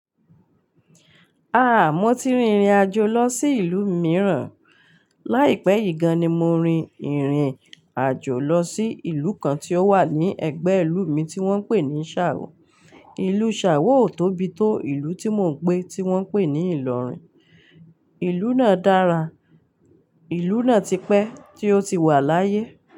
Ah! Mo ti rin ìrìn àjò lọ sí ìlú mìíràn. Láìpẹ́ yìí gan-an ni mo rin ìrìn àjò lọ sí ìlú kan tí ó wà ní ẹ̀gbẹ́ ìlú mi tí wọ́n pè ní Sáwọ. Ìlú Sáwọ ò tóbi tó ìlú tí mò ń gbé tí wọ́n pè ní Ìlọrin. Ìlú náà dára, ìlú náà ti pẹ́ tí ó ti wà láyé.